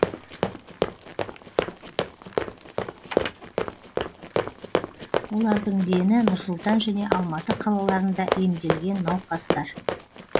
олардың дені нұр сұлтан және алматы қалаларында емделген науқастар